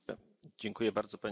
Pani Przewodnicząca!